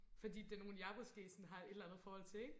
fordi det er nogen jeg måske sådan har et eller andet forhold til ikke